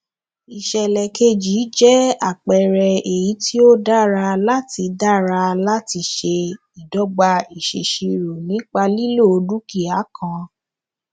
ìsèlè keji jẹ àpẹẹrẹ èyí tó dára láti dára láti ṣe ìdogba ìsèṣirò nípa lílo dúkìá kan